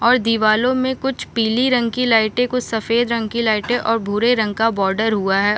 और दिवारो में कुछ पीली रंग की लाइटे कुछ सफ़ेद रंग की लाइटे और भूरे रंग का बॉर्डर हुआ --